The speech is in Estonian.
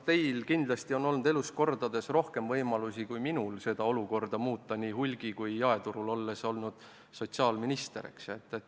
Teil on kindlasti olnud kordades rohkem võimalusi kui minul seda olukorda muuta nii hulgi- kui ka jaeturul, kuna olete olnud sotsiaalminister.